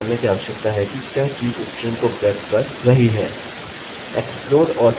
explode और फिर string का नाम